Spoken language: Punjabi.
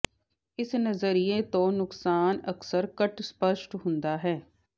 ਇਸ ਨਜ਼ਰੀਏ ਤੋਂ ਨੁਕਸਾਨ ਅਕਸਰ ਘੱਟ ਸਪੱਸ਼ਟ ਹੁੰਦਾ ਹੈ